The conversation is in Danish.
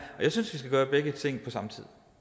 og jeg synes vi skal gøre begge ting på samme